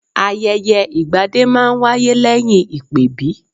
Ayẹyẹ ìgbadé máa ń wáyé lẹ́yìn ìpèbí